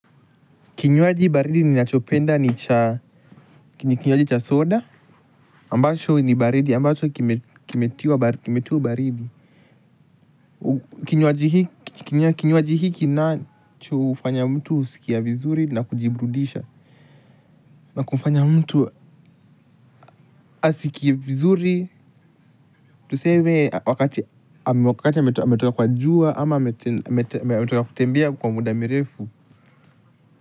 Kinywaji baridi ninachopenda ni kinywaji cha soda ambacho ni baridi ambacho kimetiwa baridi. Kinywaji hiki nacho hufanya mtu huskia vizuri na kujiburudisha. Na kufanya mtu asikie vizuri. Tuseme wakati ametoka kwa jua ama ametoka kutembea kwa muda mirefu.